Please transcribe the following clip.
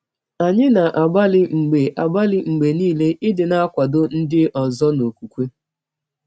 Anyị na - agbalị mgbe agbalị mgbe nile ịdị na - akwadọ ndị ọzọ n’ọkwụkwe.